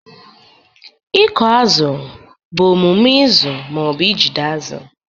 Ịkụ azụ bụ omume ịzụ ma ọ bụ ijide azụ.